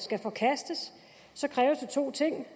skal forkastes så kræves der to ting